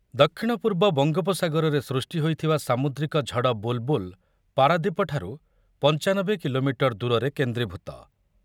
ଦକ୍ଷିଣ ପୂର୍ବ ବଙ୍ଗୋପସାଗରରେ ସୃଷ୍ଟି ହୋଇଥିବା ସାମୁଦ୍ରିକ ଝଡ଼ ବୁଲ୍‌ବୁଲ୍ ପାରାଦୀପଠାରୁ ପଞ୍ଚାନବେ କିଲୋମିଟର ଦୂରରେ କେନ୍ଦ୍ରୀଭୂତ ।